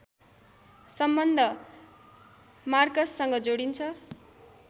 सम्बन्ध मार्कससँग जोडिन्छ